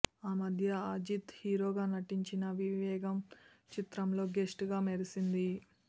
ఆ మధ్య అజిత్ హీరోగా నటించిన వివేగం చిత్రంలో గెస్ట్గా మెరిసింది